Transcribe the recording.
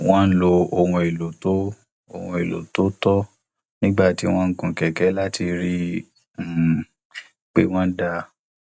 wọn lo ohun èlò tó ohun èlò tó tọ nígbà tí wọn ń gun kẹkẹ láti rí i um pé wón dáa